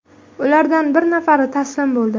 Ulardan bir nafari taslim bo‘ldi.